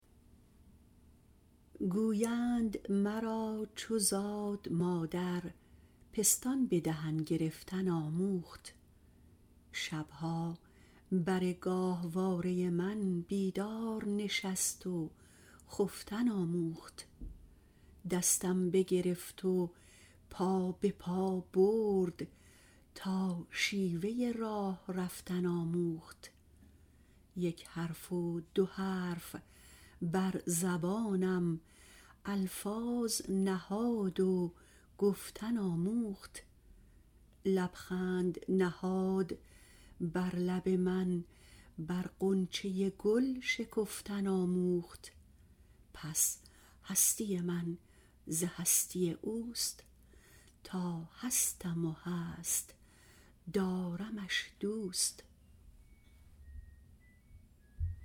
گویند مرا چو زاد مادر پستان به دهن گرفتن آموخت شبها بر گاهواره من بیدار نشست و خفتن آموخت دستم بگرفت و پا بپا برد تا شیوه راه رفتن آموخت یک حرف و دو حرف بر زبانم الفاظ نهاد و گفتن آموخت لبخند نهاد بر لب من بر غنچه گل شکفتن آموخت پس هستی من ز هستی اوست تا هستم و هست دارمش دوست